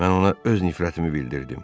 Mən ona öz nifrətimi bildirdim.